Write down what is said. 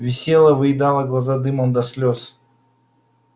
висела выедала глаза дымом до слёз